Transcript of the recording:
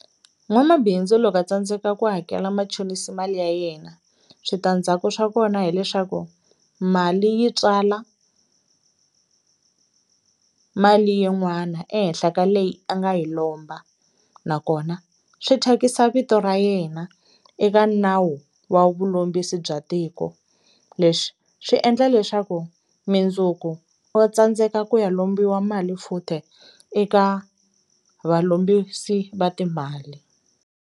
N'wamabindzu loko a tsandzeka ku hakela machonisi mali ya yena switandzhaku swa kona hileswaku mali yi tswala mali yin'wana ehenhla ka leyi a nga yi lomba nakona swi thyakisa vito ra yena eka nawu wa vulombisi bya tiko leswi swi endla leswaku mindzuku wa tsandzeka ku ya lombiwa mali futhi eka valombisi va timali.